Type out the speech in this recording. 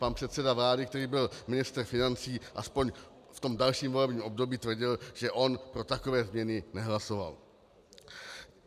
Pan předseda vlády, který byl ministr financí, aspoň v tom dalším volebním období tvrdil, že on pro takové změny nehlasoval.